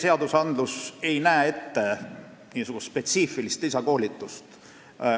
Praegu ei näe seadused ette spetsiifilist lisakoolitust.